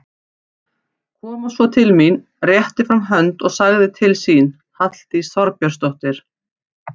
Kom svo til mín, rétti fram hönd og sagði til sín, Halldís Þorbjörnsdóttir.